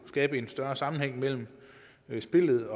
skabe en større sammenhæng mellem spillet